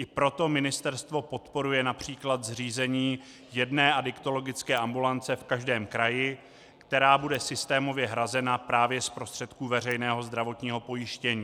I proto ministerstvo podporuje například zřízení jedné adiktologické ambulance v každém kraji, která bude systémově hrazena právě z prostředků veřejného zdravotního pojištění.